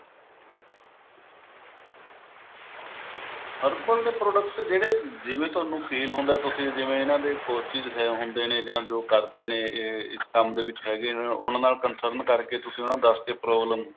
herbal ਦੇ product ਜਿਹੜੇ ਜਿਵੇਂ ਤੁਹਾਨੂੰ feel ਹੁੰਦਾ ਤੁਸੀਂ ਜਿਵੇਂ ਇਹਨਾਂ ਦੇ ਹੁੰਦੇ ਨੇ ਜੋ ਕਰਦੇ ਨੇ ਇਹ ਇਸ ਕੰਮ ਦੇ ਵਿੱਚ ਹੈਗੇ ਨੇ ਉਹਨਾਂ ਨਾਲ concern ਕਰਕੇ ਤੁਸੀਂ ਉਹਨਾਂ ਨੂੰ ਦੱਸ ਕੇ problem